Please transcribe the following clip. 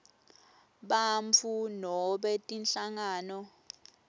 bantfu nobe tinhlangano